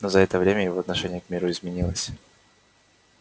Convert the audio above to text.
но за это время его отношение к миру изменилось